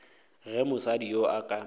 ge mosadi yoo a ka